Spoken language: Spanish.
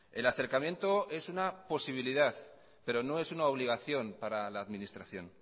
el acercamiento es una posibilidad pero no es una obligación para la administración